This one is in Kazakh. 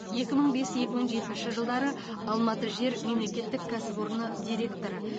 екі мың бес екі мың жетінші жылдары алматы жер мемлекеттік кәсіпорыны директоры